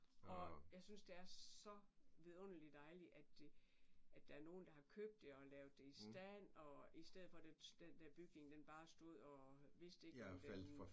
Og jeg synes det er så vidunderligt dejligt at det at der er nogen der har købt det og lavet det i stand og i stedet for at den den der bygning den bare den bare stod og vist ikke var blevet